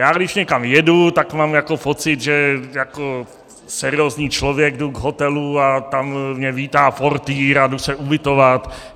Já když někam jedu, tak mám jako pocit, že jako seriózní člověk jdu k hotelu a tam mě vítá portýr a jdu se ubytovat.